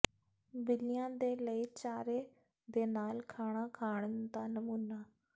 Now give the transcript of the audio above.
ਬਿੱਲੀਆਂ ਦੇ ਲਈ ਚਾਰੇ ਦੇ ਨਾਲ ਖਾਣਾ ਖਾਣ ਦਾ ਨਮੂਨਾ